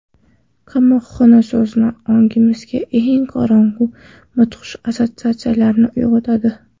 Qamoqxona so‘zi ongimizda eng qorong‘u, mudhish assotsiatsiyalarni uyg‘otadi.